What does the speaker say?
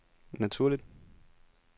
naturligt